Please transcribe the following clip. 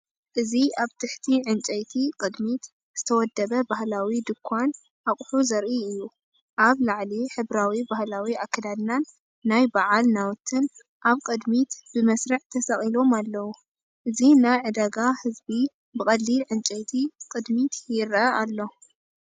እዚ ኣብ ትሕቲ ዕንጨይቲ ቅድሚት ዝተወደበ ባህላዊ ድኳን ኣቑሑት ዘርኢ እዩ። ኣብ ላዕሊ ሕብራዊ ባህላዊ ኣከዳድናን ናይ በዓል ናውትን ኣብ ቅድሚት ብመስርዕ ተሰቒሎም ኣለዉ። እዚ ናይ ዕዳጋ ህዝቢ ብቐሊል ዕንጨይቲ ቅድሚት ይረአ ኣሎ።